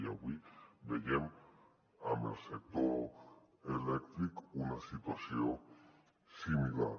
i avui veiem amb el sector elèctric una situació similar